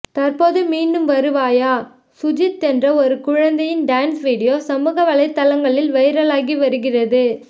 தற்ப்போது மீண்டு வருவாயா சுஜித் என்று ஒரு குழந்தையின் டான்ஸ் வீடியோ சமூக வலைத்தளங்கில் வைரலாகி வருகிறது